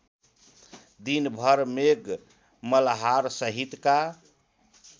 दिनभर मेघ मल्हारसहितका